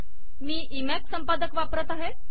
मी Emacs संपादक वापरत आहे